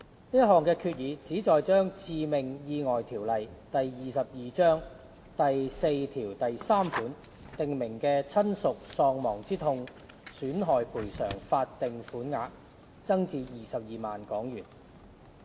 這項決議旨在把《致命意外條例》第43條訂明的親屬喪亡之痛損害賠償法定款額增至22萬元。